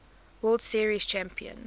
world series champion